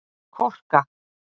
Korka